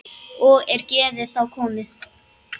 Og er geðið þá komið.